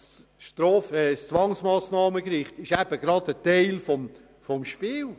Das Zwangsmassnahmengericht ist eben gerade Teil des Spiels.